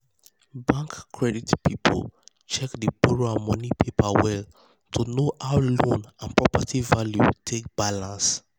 bank credit people check di borrower money paper well to know how loan and property value take balance.